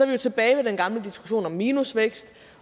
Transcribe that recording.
vi jo tilbage ved den gamle diskussion om minusvækst